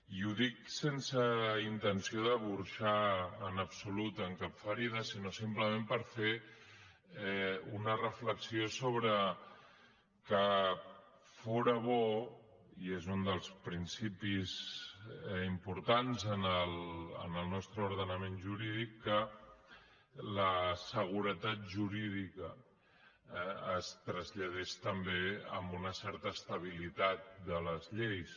i ho dic sense intenció de burxar en absolut en cap ferida sinó simplement per fer una reflexió sobre que fóra bo i és un dels principis importants en el nostre ordenament jurídic que la seguretat jurídica es traslladés també amb una certa estabilitat de les lleis